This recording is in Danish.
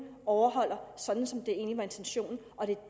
overholder den sådan som det egentlig var intentionen